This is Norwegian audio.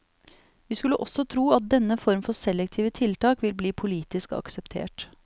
Vi skulle også tro at denne form for selektive tiltak vil bli politisk akseptert.